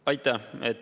Aitäh!